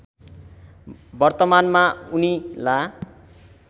वर्तमानमा उनी ला